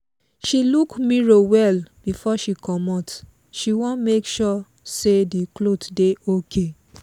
she look mirror well before she comot she wan make sure say the cloth dey okay.